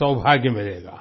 सौभाग्य मिलेगा